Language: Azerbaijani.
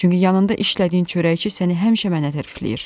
Çünki yanında işlədiyin çörəkçi səni həmişə mənə tərifləyir.